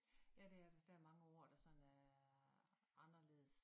Ja det er det der er mange ord der sådan er anderledes